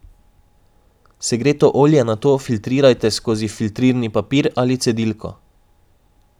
Segreto olje nato filtrirajte skozi filtrirni papir ali cedilko.